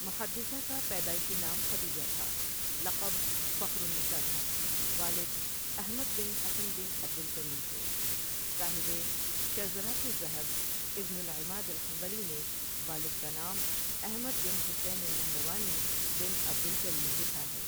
محدثہ کا پیدائشی نام خدیجہ تھا لقب فخر النساء تھا والد احمد بن حسن بن عبد الکریم تھے صاحبِ شذرات الذھب ابن العماد الحنبلی نے والد کا نام احمد بن حسین النہروانی بن عبد الکریم لکھا ہے ۔